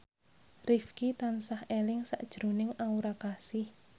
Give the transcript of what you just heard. Rifqi tansah eling sakjroning Aura Kasih